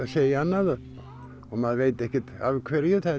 segja annað og maður veit ekkert af hverju það